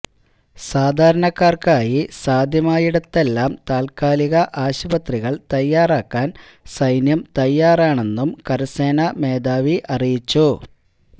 സാധാരണക്കാര്ക്കായി സാധ്യമായിടത്തെല്ലാം താത്കാലിക ആശുപത്രികള് തയ്യാറാക്കാന് സൈന്യം തയ്യാറാണെന്നും കരസേനാ മേധാവി അറിയിച്ചു